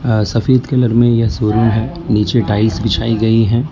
अं सफेद कलर में यह शोरूम है नीचे टाइल्स दिखाई गई है।